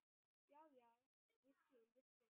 Já, já, ég skil, ég skil.